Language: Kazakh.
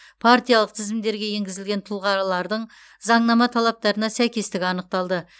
партиялық тізімдерге енгізілген тұлғарлардың заңнама талаптарына сәйкестігі анықталды